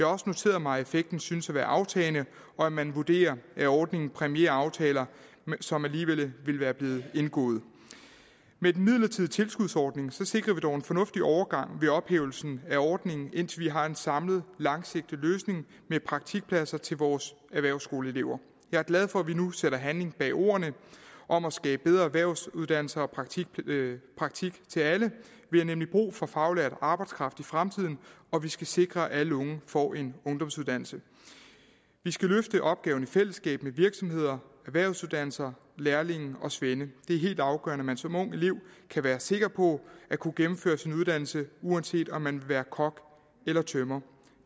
også noteret mig at effekten synes at være aftagende og at man vurderer at ordningen præmierer aftaler som alligevel ville være blevet indgået med den midlertidige tilskudsordning sikrer vi dog en fornuftig overgang ved ophævelsen af ordningen indtil vi har en samlet langsigtet løsning med praktikpladser til vores erhvervsskoleelever jeg er glad for at vi nu sætter handling bag ordene om at skabe bedre erhvervsuddannelser og praktik til alle vi har nemlig brug for faglært arbejdskraft i fremtiden og vi skal sikre at alle unge får en ungdomsuddannelse vi skal løfte opgaven i fællesskab med virksomheder erhvervsuddannelser lærlinge og svende det er helt afgørende at man som ung elev kan være sikker på at kunne gennemføre sin uddannelse uanset om man vil være kok eller tømrer